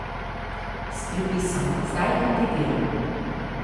S pripisom: "Zdaj kandidiram.